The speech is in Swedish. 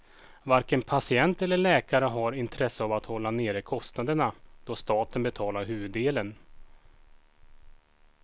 Varken patient eller läkare har intresse av att hålla nere kostnaderna, då staten betalar huvuddelen.